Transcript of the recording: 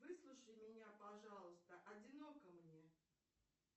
выслушай меня пожалуйста одиноко мне